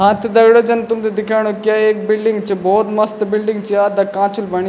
हां त दगडियों जन तुम्थे दिख्येणु क या एक बिल्डिंग च भौत मस्त बिल्डिंग च या अद्दा कांचु ल बणीं।